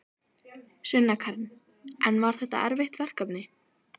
Sunna Karen: En var þetta erfitt verkefni?